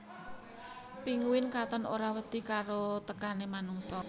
Pinguin katon ora wedi karo tekané manungsa